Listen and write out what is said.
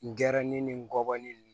N gɛrɛnin ni ngɔbɔnin ninnu